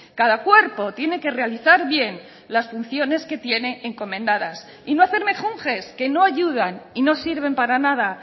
cada cuerpo tiene que realizar bien las funciones que tiene encomendadas y no hacer mejunjes que no ayudan y no sirven para nada